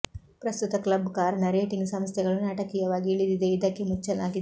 ಪ್ರಸ್ತುತ ಕ್ಲಬ್ ಕಾರಣ ರೇಟಿಂಗ್ ಸಂಸ್ಥೆಗಳು ನಾಟಕೀಯವಾಗಿ ಇಳಿದಿದೆ ಇದಕ್ಕೆ ಮುಚ್ಚಲಾಗಿದೆ